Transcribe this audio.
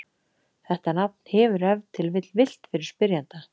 Þetta nafn hefur ef til vill villt fyrir spyrjanda.